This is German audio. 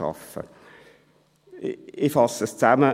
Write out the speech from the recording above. » Ich fasse zusammen: